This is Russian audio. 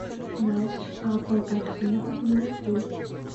матч апл арсенал ливерпуль